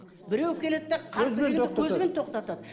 біреу келеді де қарсы келгенді көзбен тоқтатады